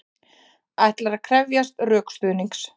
Ætlar að krefjast rökstuðnings